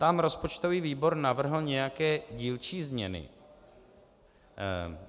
Tam rozpočtový výbor navrhl nějaké dílčí změny.